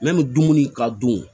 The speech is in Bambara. dumuni ka dun